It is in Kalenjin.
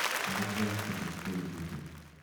Ako chechang ko chesiche kiy kiten.